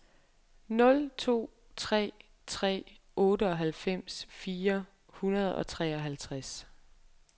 nul to tre tre otteoghalvfems fire hundrede og treoghalvtreds